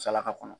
Salaka kɔnɔ